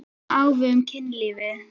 Það sama á við um kynlífið.